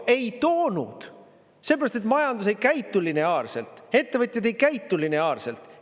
Ei toonud – sellepärast et majandus ei käitu lineaarselt, ettevõtjad ei käitu lineaarselt.